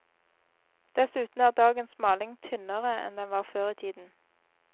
Dessuten er dagens maling tynnere enn den var før i tiden.